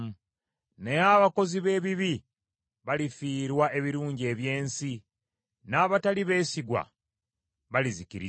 Naye abakozi b’ebibi balifiirwa ebirungi eby’ensi, n’abatali beesigwa balizikirizibwa.